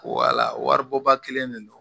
Wala wari bɔ ba kelen de don